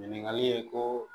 Ɲininkali ye ko